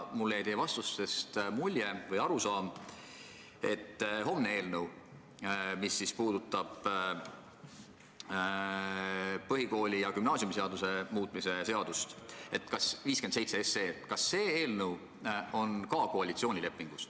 Kas homme arutatav eelnõu 57, mis puudutab ka põhikooli- ja gümnaasiumiseaduse muutmist, on samuti koalitsioonilepingus ette nähtud?